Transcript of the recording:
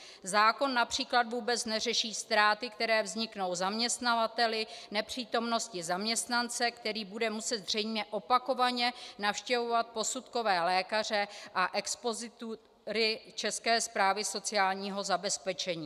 Zákon například vůbec neřeší ztráty, které vzniknou zaměstnavateli nepřítomností zaměstnance, který bude muset zřejmě opakovaně navštěvovat posudkové lékaře a expozitury České správy sociálního zabezpečení.